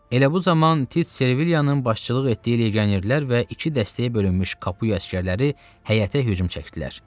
Elə bu zaman Tit Sevilianın başçılıq etdiyi legionerlər və iki dəstəyə bölünmüş Kapuya əsgərləri həyətə hücum çəkdilər.